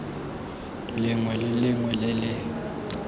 lengwe le lengwe le le